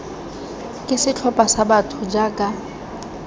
ke setlhopha sa batho jaaka